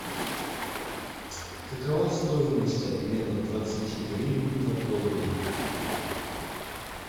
какова стоимость обмена двадцати гривен на доллары